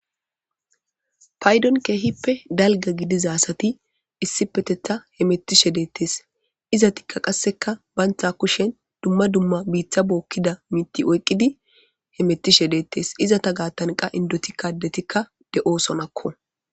Paydon keehippe dalga gidizasati issi petetha he mettishe deettes izatikka qasseka bantha kushen dumma dumma biitha bookkida miti oyqqidi he mettishe deettes iza ta gaattanqa indoti kadetikka de7oosonakko.